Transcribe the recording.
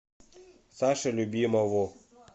саше любимову